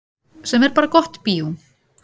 Sem er bara gott bíó.